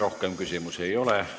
Rohkem küsimusi ei ole.